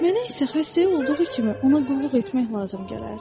Mənə isə xəstəyə olduğu kimi ona qulluq etmək lazım gələrdi.